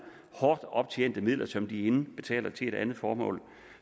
hårdt optjente midler som de indbetaler til et andet formål